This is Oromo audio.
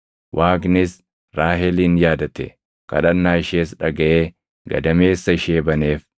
Waaqnis Raahelin yaadate; kadhannaa ishees dhagaʼee gadameessa ishee baneef.